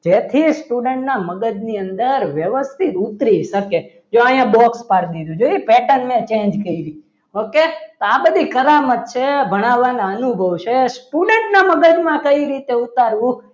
જેથી student ના મગજની અંદર વ્યવસ્થિત ઉતરી શકે જો અહીંયા box પાડી દીધું pattern ને change કરી okay આ બધી કરામત છે. ભણાવવાના અનુભવ છે student ના મગજમાં કઈ રીતે ઉતારવું?